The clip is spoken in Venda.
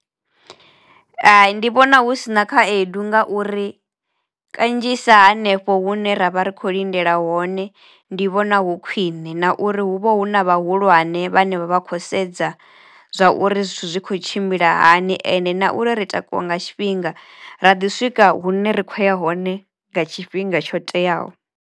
Hai ndi vhona hu si na khaedu nga uri kanzhisa hanefho hune ra vha ri khou lindela hone ndi vhona hu khwiṋe na uri hu vha hu na vhahulwane hane vhane vha vha khou sedza zwa uri zwithu zwi kho tshimbila hani ende na uri ri takuwa nga tshifhinga. Ra ḓi swika hune ra kho ya hone nga tshifhinga tsho teaho.